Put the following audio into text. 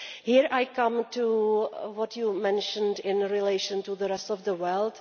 Here I come to what you mentioned in relation to the rest of the world.